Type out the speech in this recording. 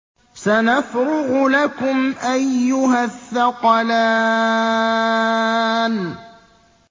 سَنَفْرُغُ لَكُمْ أَيُّهَ الثَّقَلَانِ